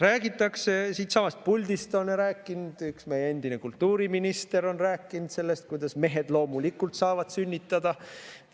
Räägitakse, ka siitsamast puldist on rääkinud üks meie endine kultuuriminister sellest, kuidas mehed loomulikult saavad sünnitada.